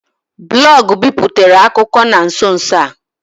Blọọgụ biputere akụkọ na nso nso a.